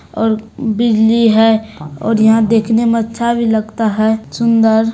और बीजली है और यहां देखने में अच्छा भी लगता है सुंदर।